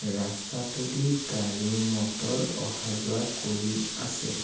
ৰাস্তাটোদি গাড়ী মটৰ অহা যোৱা কৰি আছে।